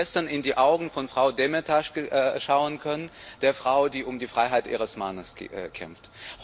Ich habe gestern in die Augen von Frau Demirtaş schauen können, der Frau, die um die Freiheit ihres Mannes kämpft.